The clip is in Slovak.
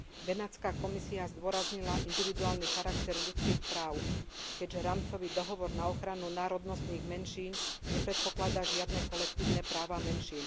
Benátska komisia zdôraznila individuálny charakter ľudských práv, keďže rámcový dohovor na ochranu národnostných menšín nepredpokladá žiadne kolektívne práva menšín.